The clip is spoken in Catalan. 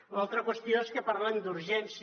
l’altra qüestió és que parlen d’urgència